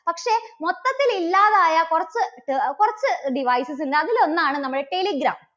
പക്ഷെ മൊത്തത്തിൽ ഇല്ലാതായ കുറച്ച്, കുറച്ച് devices ഉണ്ട്. അതിലൊന്നാണ് നമ്മുടെ telegram.